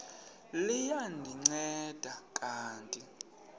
liya ndinceda kanti